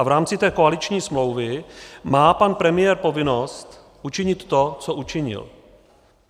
A v rámci té koaliční smlouvy má pan premiér povinnost učinit to, co učinil.